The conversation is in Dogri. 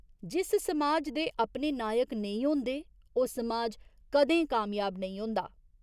जिस समाज दे अपने नायक नेईं होंदे ओह् समाज कदें कामयाब नेईं होंदा।